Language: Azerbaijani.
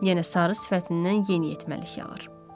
Yenə sarı sifətindən yeniyetməlik yağırdı.